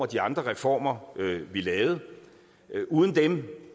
de andre reformer vi lavede uden dem